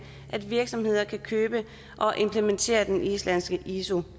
at virksomheder kan købe og implementere den islandske iso